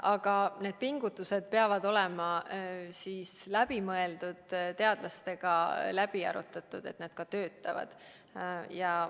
Aga need pingutused peavad olema läbimõeldud, teadlastega läbi arutatud, et need ka töötaksid.